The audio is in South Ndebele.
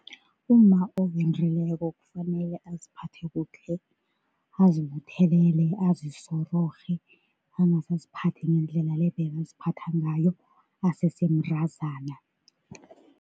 Umma owendileko kufanele aziphathe kuhle, azibuthelele azisororhe, angase aziphathe ngendlela le bekaziphatha ngayo asese mntazana.